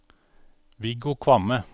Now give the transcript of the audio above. Viggo Kvamme